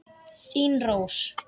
Þín Rós.